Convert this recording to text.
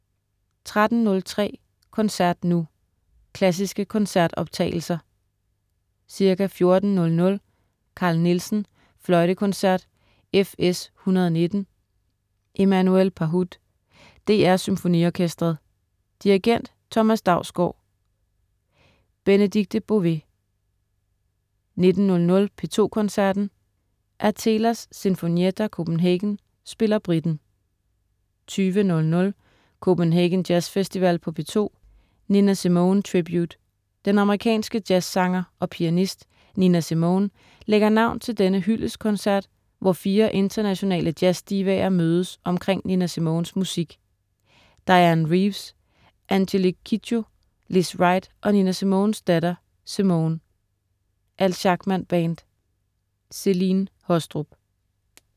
13.03 Koncert nu. Klassiske koncertoptagelser. Ca. 14.00 Carl Nielsen: Fløjtekoncert, FS 119. Emmanuel Pahud. DR SymfoniOrkestret. Dirigent: Thomas Dausgaard. Benedikte Bové 19.00 P2 Koncerten. Athelas Sinfonietta Copenhagen spiller Britten 20.00 Copenhagen Jazz Festival på P2. Nina Simone Tribute. Den amerikanske jazzsanger og pianist Nina Simone lægger navn til denne hyldestkoncert, hvor fire internationale jazzdivaer mødes omkring Nina Simones musik. Dianne Reeves, Angélique Kidjo, Lizz Wright og Nina Simones datter Simone. Al Schackman Band. Celine Haastrup